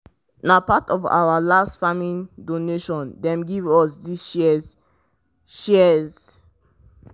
na part of our last farming donation dem give us these shears. shears.